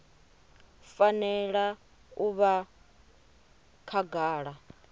i fanela u vha khagala